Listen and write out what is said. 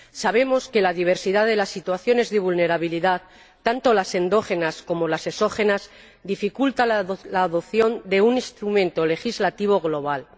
Sabemos que la diversidad de las situaciones de vulnerabilidad, tanto las endógenas como las exógenas, dificulta la adopción de un instrumento legislativo global.